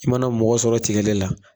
I mana mɔgɔ sɔrɔ tigɛ de la